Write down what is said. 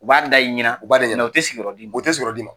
U b'a da i ɲɛna nka u tƐ sigi yƆrƆ kelen.